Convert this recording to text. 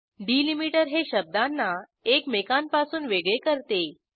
delimiter हे शब्दांना एकमेकांपासून वेगळे करते